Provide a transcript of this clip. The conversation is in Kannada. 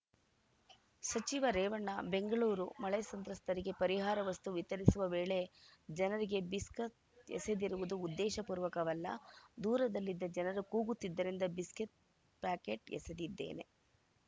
ಸಚಿವ ರೇವಣ್ಣ ಬೆಂಗಳೂರು ಮಳೆ ಸಂತ್ರಸ್ತರಿಗೆ ಪರಿಹಾರ ವಸ್ತು ವಿತರಿಸುವ ವೇಳೆ ಜನರಿಗೆ ಬಿಸ್ಕತ್‌ ಎಸೆದಿರುವುದು ಉದ್ದೇಶಪೂರ್ವಕವಲ್ಲ ದೂರದಲ್ಲಿದ್ದ ಜನರು ಕೂಗುತ್ತಿದ್ದರಿಂದ ಬಿಸ್ಕತ್‌ ಪ್ಯಾಕೆಟ್‌ ಎಸೆದಿದ್ದೇನೆ